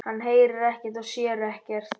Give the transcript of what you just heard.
Hann heyrir ekkert og sér ekkert.